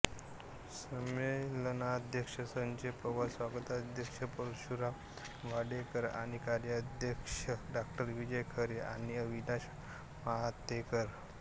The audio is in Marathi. संमेलनाध्यक्ष संजय पवार स्वागताध्यक्ष परशुराम वाडेकर आणि कार्याध्यक्ष डॉ विजय खरे आणि अविनाश महातेकर होते